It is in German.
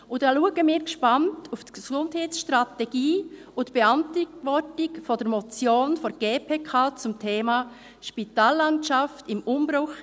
Wir schauen gespannt auf die Gesundheitsstrategie und die Beantwortung der Motion der GPK zum Thema «Spitallandschaft im Umbruch –